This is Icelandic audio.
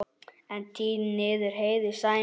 En tír þýðir heiður, sæmd.